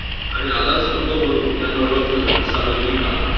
आणि आधारस्तंभ म्हणून यांना ओळखलं जातं 'सार्वजनिक काका'.